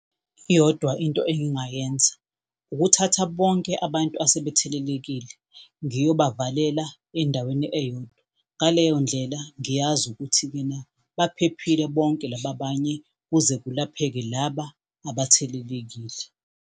Iyodwa Into engingayenza, ukuthatha bonke abantu asebethelelekile ngiyobavalela endaweni eyodwa. Ngaleyo ndlela, ngiyazi ukuthi kena baphephile bonke laba abanye kuze kulapheke laba abathelelekile.